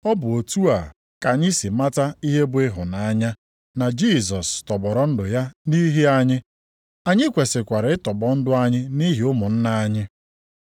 Ọ bụ otu a ka anyị sị mata ihe bụ ịhụnanya, na Jisọs tọgbọrọ ndụ ya nʼihi anyị. Anyị kwesikwara ịtọgbọ ndụ anyị nʼihi ụmụnna anyị.